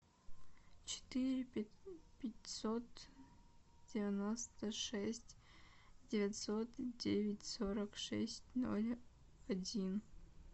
четыре пятьсот девяносто шесть девятьсот девять сорок шесть ноль один